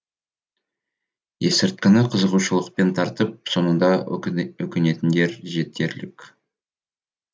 есірткіні қызығушылықпен тартып соңында өкінетіндер жетерлік